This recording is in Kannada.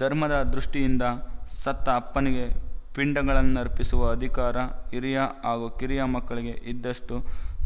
ಧರ್ಮದ ದೃಷ್ಟಿಯಿಂದ ಸತ್ತ ಅಪ್ಪನಿಗೆ ಪಿಂಡಗಳನ್ನರ್ಪಿಸುವ ಅಧಿಕಾರ ಹಿರಿಯ ಹಾಗೂ ಕಿರಿಯ ಮಕ್ಕಳಿಗೆ ಇದ್ದಷ್ಟು